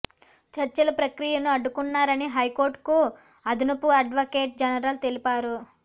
చర్చల ప్రక్రియను అడ్డుకున్నారని హైకోర్ట్ కు అదనపు అడ్వకేట్ జనరల్ తెలిపారు